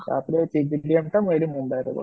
ତାପରେ PGDM ଟା ମୁ ଏଇଠି ମୁମ୍ବାଇରେ କରିଥିଲି